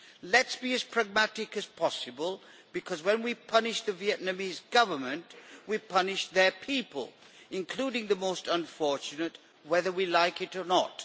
Let us be as pragmatic as possible because when we punish the Vietnamese Government we punish their people, including the most unfortunate, whether we like it or not.